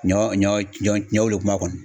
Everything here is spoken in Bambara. Ɲɔ ɲɔ ɲɔ wolo kuma kɔni.